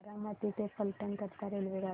बारामती ते फलटण करीता रेल्वेगाडी